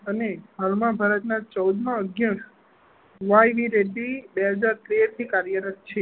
અને હાલ માં ભારત ના ચૌદ માં અધ્યક્ષ વાય ડી રેડ્ડી તેર થી કાર્યરત છે.